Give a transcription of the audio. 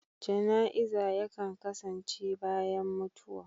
Ganaiza yankan kasance bayan mutuwa.